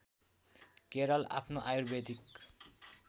केरल आफ्नो आयुर्वेदिक